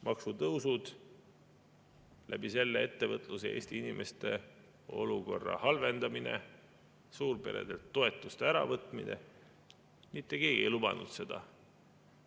Maksutõusud, sellega ettevõtluse ja Eesti inimeste olukorra halvendamine, suurperedelt toetuste äravõtmine – mitte keegi ei lubanud seda.